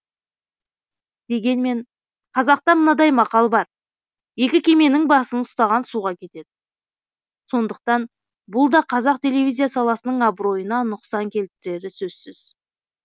дегенмен қазақта мынадай мақал бар екі кеменің басын ұстаған суға кетеді сондықтан бұлда қазақ телевизия саласының абыройына нұқсан келтірері сөзсіз